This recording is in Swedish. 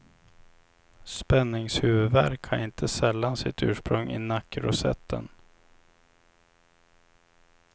Spänningshuvudvärk har inte sällan sitt ursprung i nackrosetten.